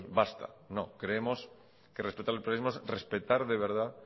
basta no creemos que respetar el pluralismo es respetar de verdad